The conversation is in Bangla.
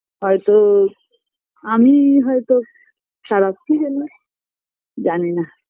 হয়তো আমিই হয়তো খারাপ কী জানি জানিনাহ